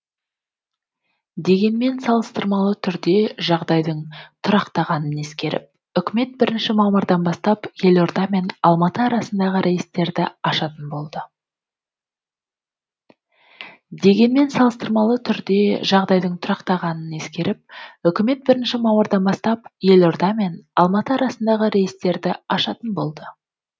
дегенмен салыстырмалы түрде жағдайдың тұрақтанғанын ескеріп үкімет бірінші мамырдан бастап елорда мен алматы арасындағы рейстерді ашатын болды